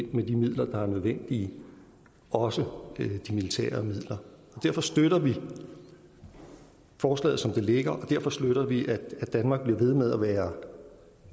med de midler der er nødvendige også de militære midler derfor støtter vi forslaget som det ligger og derfor støtter vi at danmark bliver ved med at være